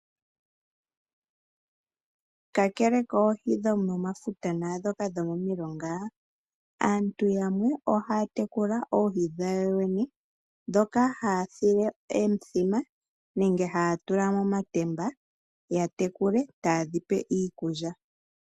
Kakele koohi dhomomafuta naandhoka dhomomilonga, aantu yamwe ohaya tekula oohi dhawo yene, ndhoka hayedhi tula monatemba nenge momithima. Ohaye dhi pelemo iikulya.